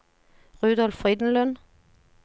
Rudolf Frydenlund